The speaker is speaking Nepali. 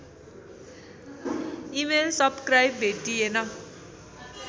email subscribe भेटिएन